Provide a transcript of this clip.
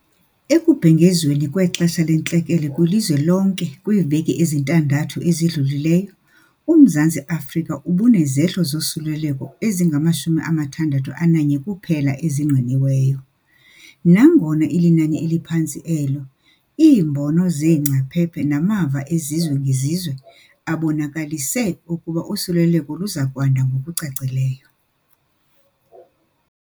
Ekubhengezweni kwexesha lentlekele kwilizwe lonke kwiveki ezintandathu ezidlulileyo, uMzantsi Afrika ubunezehlo zosuleleko ezingama-61 kuphela ezingqiniweyo. Nangona ilinani eliphantsi elo, iimbono zeengcaphephe namava ezizwe ngezizwe abonakalise ukuba usuleleko luza kwanda ngokucacileyo.